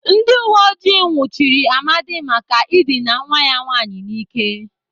Ndị uweojii nwụchiri Amadi maka ịdịna nwa ya nwaanyị n'ike.